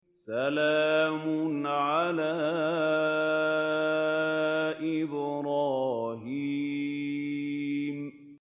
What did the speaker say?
سَلَامٌ عَلَىٰ إِبْرَاهِيمَ